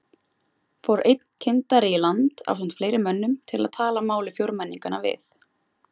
Fór einn kyndari í land ásamt fleiri mönnum til að tala máli fjórmenninganna við